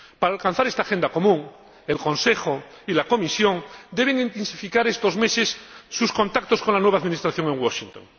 Para alcanzar esta agenda común, el Consejo y la Comisión deben intensificar estos meses sus contactos con el nuevo Gobierno de Washington.